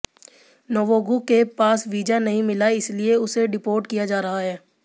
नवोगु के पास वीज़ा नहीं मिला इसलिए उसे डिपोर्ट किया जा रहा है